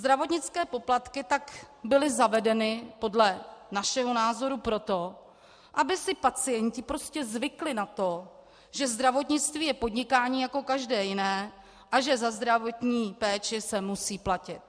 Zdravotnické poplatky tak byly zavedeny podle našeho názoru proto, aby si pacienti prostě zvykli na to, že zdravotnictví je podnikání jako každé jiné a že za zdravotní péči se musí platit.